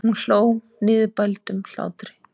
Hún hló niðurbældum hlátri.